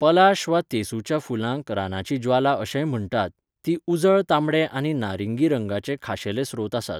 पलाश वा तेसूच्या फुलांक रानाची ज्वाला अशेंय म्हण्टात, तीं उजळ तांबडे आनी नारिंगी रंगाचे खाशेले स्रोत आसात.